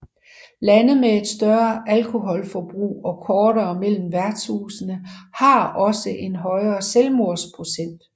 Lande med et større alkoholforbrug og kortere mellem værtshusene har også en højere selvmordsprocent